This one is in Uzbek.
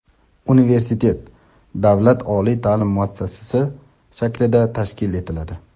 universitet davlat oliy ta’lim muassasasi shaklida tashkil etiladi.